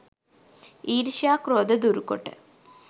ඊර්ෂ්‍යයා ක්‍රෝධ දුරුකොට